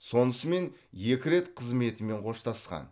сонысымен екі рет қызметімен қоштасқан